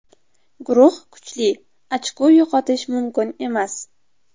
Guruh kuchli, ochko yo‘qotish mumkin emas.